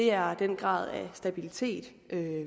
er den grad af stabilitet